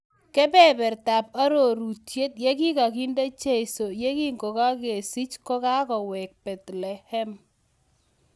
Kobeberta ab arunyet yekikakinde jeiso yekinkokakisich kokaweek Bethlehem